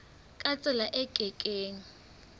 ka tsela e ke keng